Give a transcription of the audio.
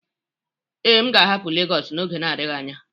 Ee, m ga-ahapụ Legosu n'oge adịghị anya